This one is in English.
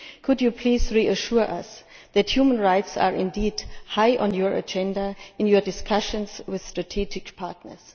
Could you please reassure us that human rights are indeed high on your agenda in your discussions with strategic partners?